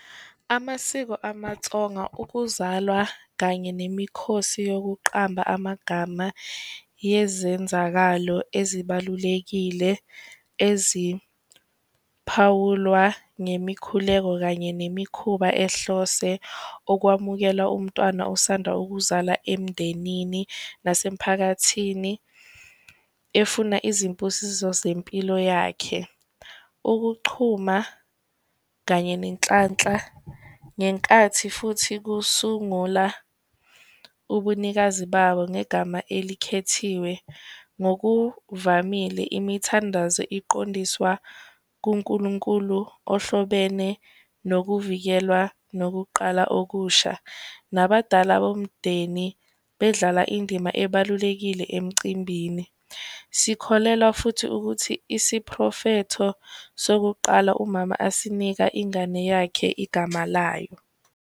Amasiko amaTsonga ukuzalwa kanye nemikhosi yokuqamba amagama yezenzakalo ezibalulekile eziphawulwa ngemikhuleko, kanye nemikhuba ehlose ukwamukela umntwana osanda ukuzala emndenini nasemiphakathini efuna izimpusiso zempilo yakhe. Ukuchuma kanye nenhlanhla ngenkathi futhi kusungula ubunikazi babo ngegama elikhethiwe, ngokuvamile imithandazo iqondiswa kuNkulunkulu ohlobene nokuvikelwa nokuqala okusha, nabadala bomndeni bedlala indima ebalulekile emcimbini. Sikholelwa futhi ukuthi isiphrofetho sokuqala umama asinika ingane yakhe igama layo.